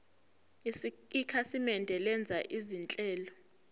ikhasimende lenza izinhlelo